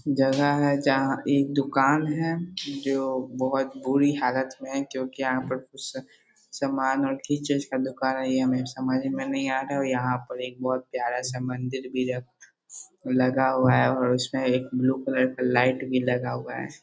जगह है जहाँ एक दुकान है जो बहुत बुरी हालत में है क्यों की यहाँ पे कुछ समान और किस चीज़ का दुकान है और यहाँ पर एक प्यारा सा मंदिर भी है लगा हुआ है और उसमे एक ब्लू कलर का लाइट भी लगा हुआ है |